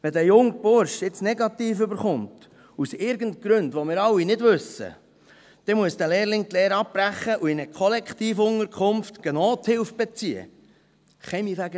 Wenn dieser junge Bursche jetzt negativ erhält, aus irgendwelchen Gründen, die wir alle nicht kennen, dann muss dieser Lehrling die Lehre abbrechen und in einer Kollektivunterkunft Nothilfe beziehen gehen.